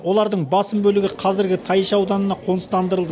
олардың басым бөлігі қазіргі тайынша ауданына қоныстандырылды